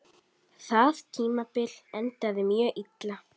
Það tímabil endaði mjög illa.